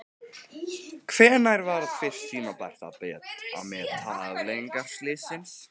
Hvenær var fyrst tímabært að meta afleiðingar slyssins?